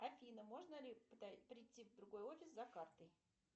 афина можно ли придти в другой офис за картой